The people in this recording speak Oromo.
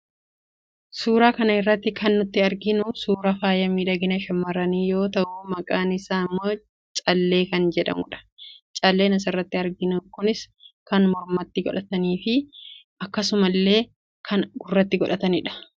Suura kana irratti kan nuti arginu suuraa faaya miidhagina shammarranii yoo tahu maqaan isaa immoo callee kan jedhamudha. Calleen asirratti arginu kunis kan mormatti godhatamuu fi akkasuma iillee kan gurratti godhatamuus ni jira.